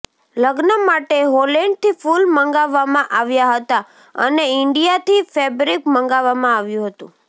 લગ્ન માટે હોલેન્ડથી ફૂલ મંગાવવામાં આવ્યા હતા અને ઇન્ડિયાથી ફેબ્રિક મંગાવવામાં આવ્યુ હતુ